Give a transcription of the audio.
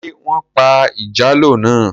Ṣé wọ́n pa ìjàlọ́ náà?